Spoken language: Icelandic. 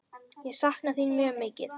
Ég sakna þín mjög mikið.